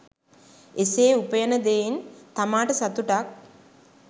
එසේ උපයන දෙයින් තමාට සතුටක්